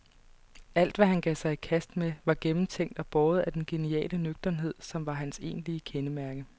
Alt, hvad han gav sig i kast med, var gennemtænkt og båret af den geniale nøgternhed, som var hans egentlige kendemærke.